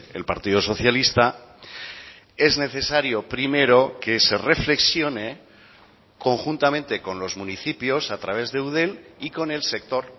el partido socialista es necesario primero que se reflexione conjuntamente con los municipios a través de eudel y con el sector